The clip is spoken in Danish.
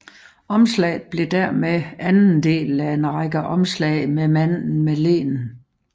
Omslaget blev dermed anden del af en række omslag med manden med leen